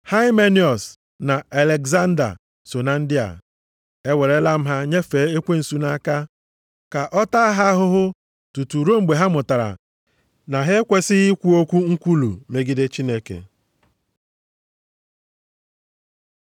Haimeniọs na Alegzanda so na ndị a. Ewerela m ha nyefee Ekwensu nʼaka, ka ọ taa ha ahụhụ tutu ruo mgbe ha mụtara na ha ekwesighị ikwu okwu nkwulu megide Chineke.